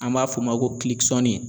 An b'a f'o ma ko